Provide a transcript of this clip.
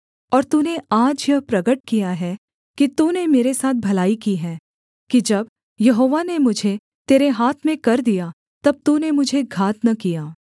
और तूने आज यह प्रगट किया है कि तूने मेरे साथ भलाई की है कि जब यहोवा ने मुझे तेरे हाथ में कर दिया तब तूने मुझे घात न किया